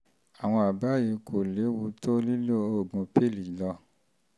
àwọn um àbá yìí kò léwu to lílo oògùn i-pill lọ